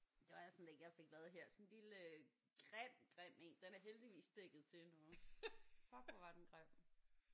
Det var sådan en jeg fik lavet her sådan en lille grim grim en. Den er heldigvis dækket til nu. Fuck hvor var den grim